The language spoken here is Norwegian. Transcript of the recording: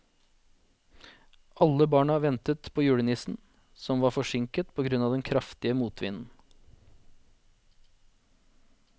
Alle barna ventet på julenissen, som var forsinket på grunn av den kraftige motvinden.